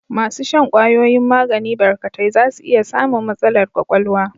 Masu shan kwayoyin magani barkatai za su iya samun matsalar ƙwaƙwalwa.